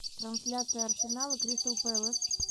трансляция арсенал и кристал пэлас